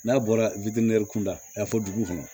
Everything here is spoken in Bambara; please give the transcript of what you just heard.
N'a bɔra witinin kun da a fɔ dugu kɔnɔ